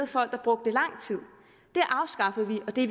folk der brugte lang tid det afskaffede vi og det